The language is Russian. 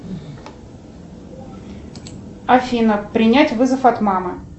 афина принять вызов от мамы